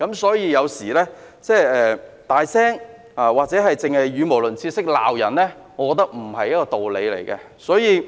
所以，有時候大聲或語無倫次，只懂罵人，我覺得並沒有道理。